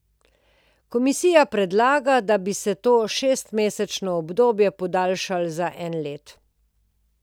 Komisija predlaga, da bi se to šestmesečno obdobje podaljšalo za eno leto.